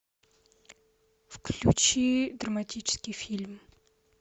включи драматический фильм